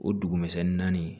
O dugumisɛnnin naani